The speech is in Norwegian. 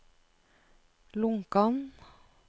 Lonkan